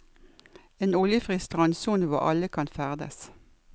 En oljefri strandsone hvor alle kan ferdes.